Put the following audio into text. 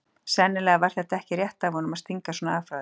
Sennilega var þetta ekki rétt af honum að stinga svona af frá þeim.